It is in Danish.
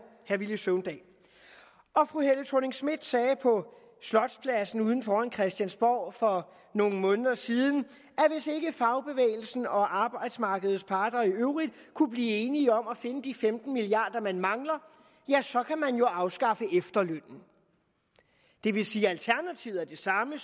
herre villy søvndal fru helle thorning schmidt sagde på slotspladsen ude foran christiansborg for nogle måneder siden at fagbevægelsen og arbejdsmarkedets parter i øvrigt kunne blive enige om at finde de femten milliard kr man mangler ja så kan man jo afskaffe efterlønnen det vil sige at alternativet er det samme